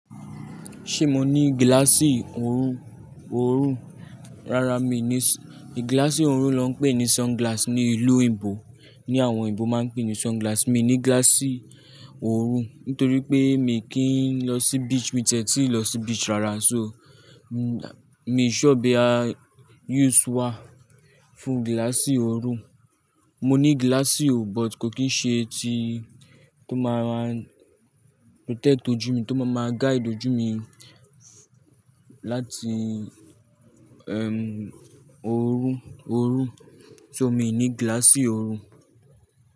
Ṣe mo ni gíláàsì oru, oorun? Rara mi ni, gíláàsì orun ló ń pè ní sunglass ní ìlú òyìnbó. Ní àwọn òyìnbó máa ń pè ní sunglass. Mi ní gíláàsì oru nítorí pé mi kì í lọ sí beach, mi ti e tí lọ sí beach rárá so, mi sọ bí a yúù ṣe wà fún gíláàsì oru. Mo ní gíláàsì o but kò kì í ṣe ti tó máa ma protect ojú mi, tó máa ma guide ojú mi láti, ẹm oru, oorun. So mi ò ní gíláàsì oru.